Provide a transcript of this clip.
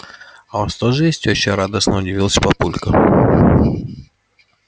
а у вас тоже есть тёща радостно удивился папулька